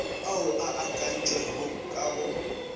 ao a akantšwego ka go